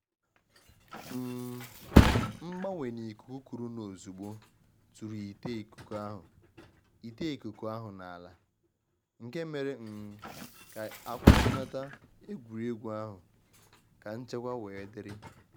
um M'gbanwe na ikuku kurunu ozugbo tụrụ ite ikuku ahụ ite ikuku ahụ n’ala, nke mere um ka e kwụsịnata egwuregwu ahụ ka nchekwa wee dịrị.